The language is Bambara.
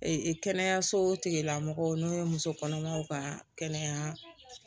kɛnɛyaso tigilamɔgɔw n'o ye muso kɔnɔmaw ka kɛnɛya